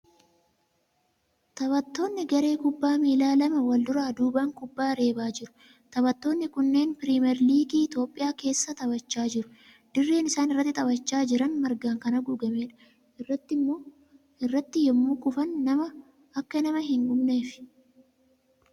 Taphattoonni garee kubbaa miila lama wal duraa duubaan kubbaa reebaa jiru. Taphattoonni kunneen piriimeerligii Itiyoophiyaa keessa taphachaa jiru. Dirreen isaan irratti taphachaa jiran margaan kan haguugameedha. Irratti yemmuu kufan akka nama hin hubneefi.